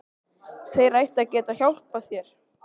Þeir ættu að geta hjálpað þér.